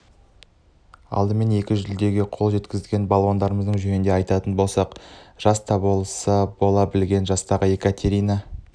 алдымен екі жүлдеге қол жеткізген балуандарымыз жөнінде айтатын болсақ жаста болса бас бола білген жастағы екатерина